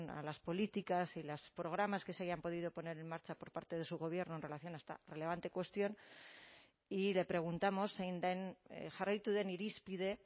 a las políticas y los programas que se hayan podido poner en marcha por parte de su gobierno en relación a esta relevante cuestión y le preguntamos zein den jarraitu den irizpide